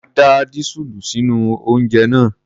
Má da dísúùlù sínú oúnjẹ náà!